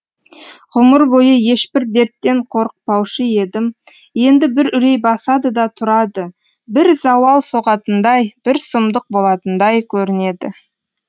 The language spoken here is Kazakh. ғұмыр бойы ешбір дерттен қорықпаушы едім енді бір үрей басады да тұрады бір зауал соғатындай бір сұмдық болатындай көрінеді